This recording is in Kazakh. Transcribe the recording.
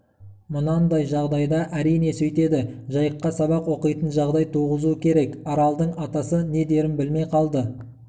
мынандай жағдайда әрине сөйтеді жайыққа сабақ оқитын жағдай туғызу керек аралдың атасы не дерін білмей қалды